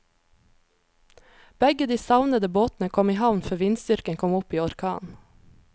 Begge de savnede båtene kom i havn før vindstyrken kom opp i orkan.